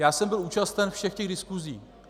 Já jsem byl účasten všech těch diskusí.